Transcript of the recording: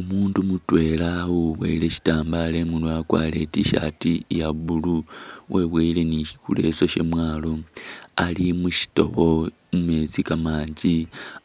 Umundu mutwela uwibowele sitambalo imurwe wakwarire i’tshirt iya blue webowele ni ileso shamwalo ali mushitobo mumesti kamanji